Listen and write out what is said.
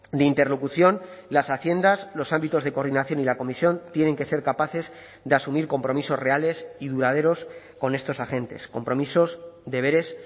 de interlocución las haciendas los ámbitos de coordinación y la comisión tienen que ser capaces de asumir compromisos reales y duraderos con estos agentes compromisos deberes